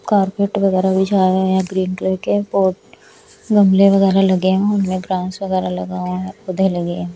Carpet वगैरह बिछाए गए है यहाँ ग्रीन कलर के पोट गमले वगैरह लगे हुए है उनमें वगैरह लगा हुआ है पौधे लगी हैं।